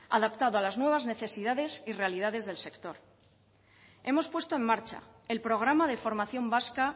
adaptado a las nuevas necesidades y realidades del sector hemos puesto en marcha el programa de formación vasca